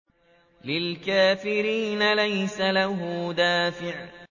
لِّلْكَافِرِينَ لَيْسَ لَهُ دَافِعٌ